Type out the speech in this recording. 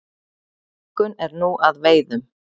Ingunn er nú að veiðum.